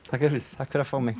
fyrir takk fyrir að fá mig